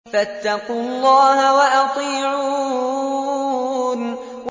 فَاتَّقُوا اللَّهَ وَأَطِيعُونِ